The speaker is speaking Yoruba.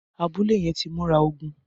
Abùlé yèn ti mùrá ógùn